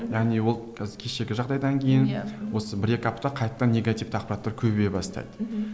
яғни ол кешегі жағдайдан кейін осы бір екі апта қайтадан негативті ақпараттар көбейе бастайды мхм